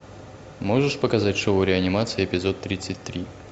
можешь показать шоу реанимация эпизод тридцать три